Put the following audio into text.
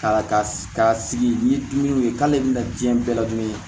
Ka ka sigi ni dumuni ye k'ale bɛna diɲɛ bɛɛ ladon